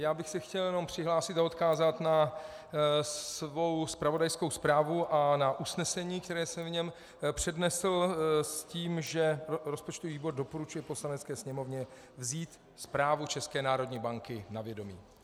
Já bych se chtěl jenom přihlásit a odkázat na svou zpravodajskou zprávu a na usnesení, které jsem v něm přednesl s tím, že rozpočtový výbor doporučuje Poslanecké sněmovně vzít zprávu České národní banky na vědomí.